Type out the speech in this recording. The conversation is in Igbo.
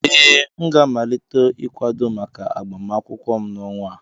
Ee, m ga-amalite ịkwado maka agbamakwụkwọ m n'ọnwa a